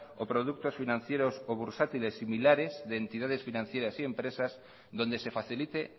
o productos financieros bursátiles similares de entidades financieras y empresas donde se facilite